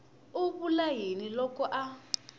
a vula yini loko a